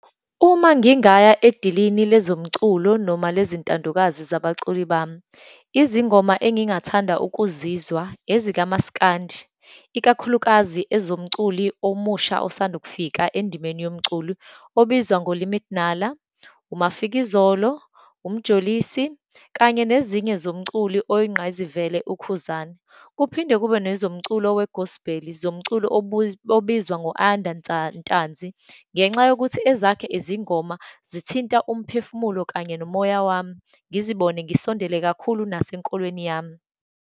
Uma ngingaya edilini lezo mculo, noma lezintandokazi zabaculi bami. Izingoma engingathanda ukuzizwa ezikamasikandi, ikakhulukazi ezomculi omusha esandukufika endimeni yomculo, obizwa ngoLimit Nala, uMafikizolo, uMjolosi, kanye nezinye zomculi oyingqayizivele, uKhuzani, kuphinde kube nezomculo we-gospel, zomculo obizwa ngo-Ayanda Ntanzi, ngenxa yokuthi ezakhe izingoma zithinta umphefumulo kanye nomoya wami. Ngizibone ngisondele kakhulu nasenkolweni yami.